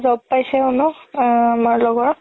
job পাইছে নহয় আমাৰ লগৰ